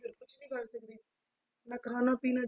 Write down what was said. ਫਿਰ ਕੁਛ ਨੀ ਕਰ ਸਕਦੇ, ਨਾ ਖਾਣਾ ਪੀਣਾ